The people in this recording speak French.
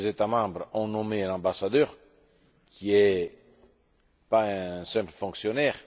Tous les États membres ont nommé un ambassadeur qui n'est pas un simple fonctionnaire